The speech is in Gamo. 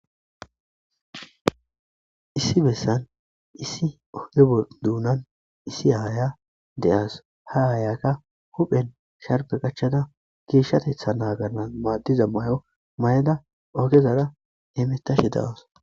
issi bessan issi ogge duunan issi aaya de7as ha aayakka huphen sharbe qachchana geeshshatetha naagannan maaddiza may7o mayada ogezara hemetashe dawas.